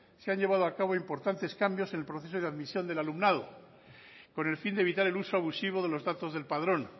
se han llevado a cabo importantes cambios en el proceso de admisión del alumnado con el fin de evitar el uso abusivo de los datos del padrón